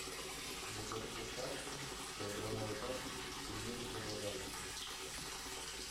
закажи доставку килограммовой пачки пельмени павлодарские